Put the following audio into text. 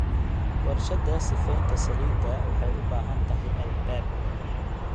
Warshadda sifaynta saliidda waxay u baahan tahay albaab.